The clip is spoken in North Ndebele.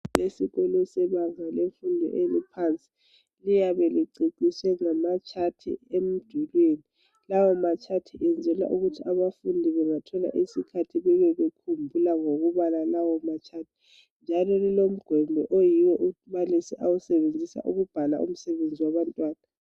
Ezikolweni sebanga laphansi kuyabe kuceciswe ngamatshathi emdulwini, lawo matshathi enzelwa ukuthi nxa abafundi bengathola isikhathi beyabe bekhumbula ngokubala lawo matshathi njalo kulomgomo umbalisi oyabe ewusebenzisa ukubhala umsebenzi wabantwana.